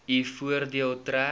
u voordeel trek